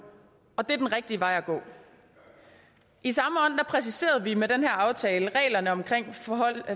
og det er den rigtige vej at gå i samme ånd præciserede vi med den her aftale reglerne om